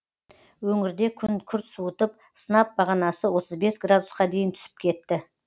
өңірде күн күрт суытып сынап бағанасы отыз бес градусқа дейін түсіп кетті